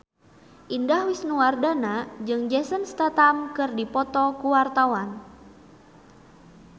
Indah Wisnuwardana jeung Jason Statham keur dipoto ku wartawan